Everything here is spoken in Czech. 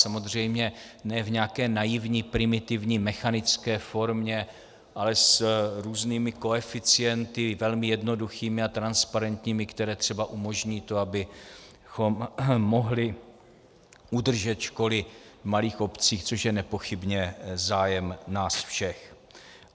Samozřejmě ne v nějaké naivní, primitivní, mechanické formě, ale s různými koeficienty, velmi jednoduchými a transparentními, které třeba umožní to, abychom mohli udržet školy v malých obcích, což je nepochybně zájem nás všech.